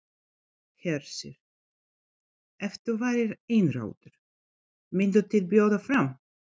Hersir: Ef þú værir einráður, mynduð þið bjóða fram?